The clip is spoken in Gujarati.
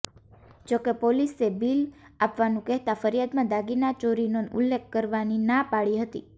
જો કે પોલીસે બિલ આપવાનું કહેતા ફરિયાદમાં દાગીના ચોરીનો ઉલ્લેખ કરવાની ના પાડી હતી